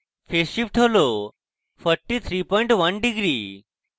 phase shift হল 431 deg degree